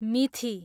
मिथि